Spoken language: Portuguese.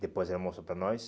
Depois ela mostrou para nós.